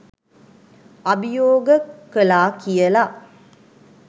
අභියෝග කලා කියල.